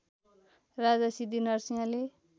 राजा सिद्धिनरसिंहले